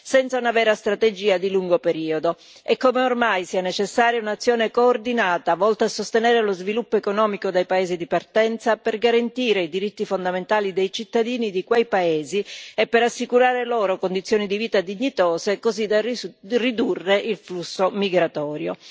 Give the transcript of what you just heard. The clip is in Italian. senza una vera strategia di lungo periodo, e come ormai sia necessaria un'azione coordinata, volta a sostenere lo sviluppo economico dei paesi di partenza per garantire i diritti fondamentali dei cittadini di quei paesi e per assicurare loro condizioni di vita dignitose, così da ridurre il flusso migratorio.